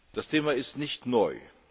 Das Thema ist nicht neu.